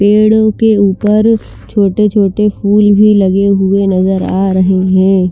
पेड़ के उपर छोटे छोटे फूल भी लगे नज़र आ रहे है ।